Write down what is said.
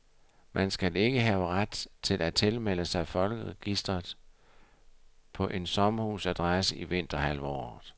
Man skal ikke have ret til at tilmelde sig folkeregistret på en sommerhusadresse i vinterhalvåret.